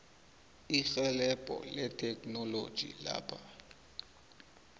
irhelebho letheknoloji lapha